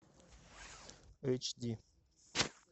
эйч ди